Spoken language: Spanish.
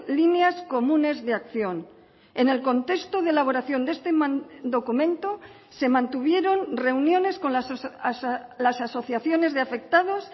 líneas comunes de acción en el contexto de elaboración de este documento se mantuvieron reuniones con las asociaciones de afectados